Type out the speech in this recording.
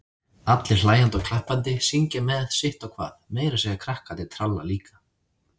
Allir hlæjandi og klappandi, syngja með sitt á hvað, meira að segja krakkarnir tralla líka.